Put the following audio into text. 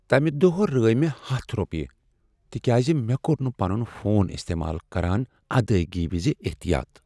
تمہِ دوہ رٲوِ مے٘ ہتھَ روپیہ تکیاز مےٚ کوٚر نہٕ پنٗن فون استعمال كران ادایگی وِزِ احتیاط